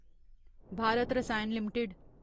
Bharat Rasayan limited